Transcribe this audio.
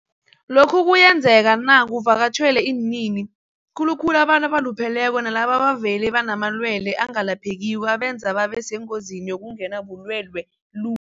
Lokhu kuyenzeka na kuvakatjhelwa iinini, khulukhulu abantu abalupheleko nalabo abavele banamalwele angelaphekiko abenza babe sengozini yokungenwa bulwele lu